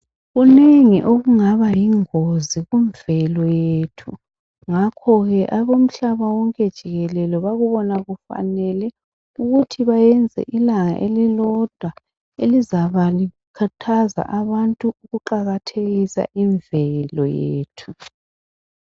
Kuningi okungaba yingozi kumvelo yethu. Ngakho ke abomhlaba wonke jikelele bakubona kufanele ukuthi bayenze ilanga elilodwa elizabakhathaza abantu ukuqakathekisa imvelo yethu